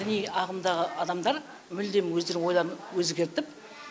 діни ағымдағы адамдар мүлдем өздері ойларын өзгертіп